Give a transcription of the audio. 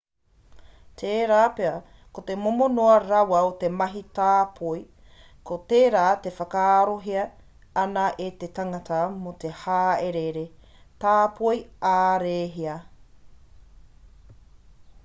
tērā pea ko te momo noa rawa o te mahi tāpoi ko tērā e whakaarohia ana e te tangata mō te hāereere tāpoi ā-rēhia